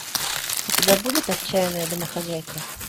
у тебя будет отчаянная домохозяйка